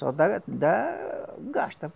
Só dá, dá gasta.